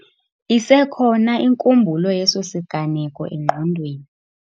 Isekhona inkumbulo yeso siganeko engqondweni.